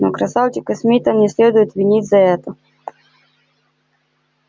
но красавчика смита не следует винить за это